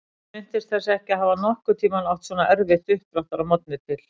Hún minntist þess ekki að hafa nokkurn tímann átt svona erfitt uppdráttar að morgni til.